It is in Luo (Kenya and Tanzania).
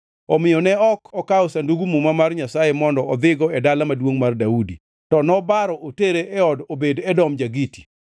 Omiyo ne ok okawo Sandug Muma mar Nyasaye mondo odhigo e Dala Maduongʼ mar Daudi, to nobaro otere e od Obed-Edom ja-Giti.